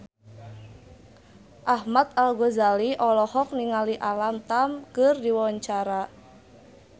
Ahmad Al-Ghazali olohok ningali Alam Tam keur diwawancara